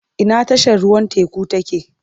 Ina tashar ruwan teku take?